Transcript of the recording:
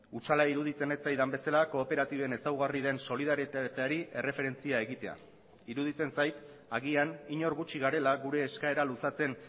hutsala iruditzen ez zaidan bezala kooperatiben ezaugarri den solidaritateari erreferentzia egitea iruditzen zait agian inork gutxi garela gure eskaera luzatzen